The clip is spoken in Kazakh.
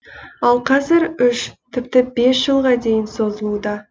ал қазір үш тіпті бес жылға дейін созылуда